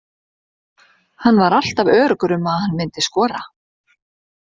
Hann var alltaf öruggur um að hann myndi skora.